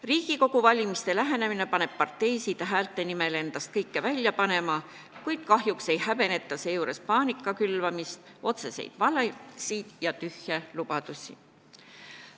Riigikogu valimiste lähenemine paneb parteisid häälte nimel endast kõike välja panema, kuid kahjuks ei häbeneta seejuures paanika külvamist, otseseid valesid ega tühje lubadusi.